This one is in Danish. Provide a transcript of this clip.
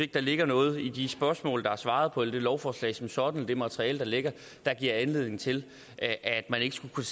der ligger noget i de spørgsmål der er svaret på eller i lovforslaget som sådan og det materiale der ligger der giver anledning til at man ikke skulle kunne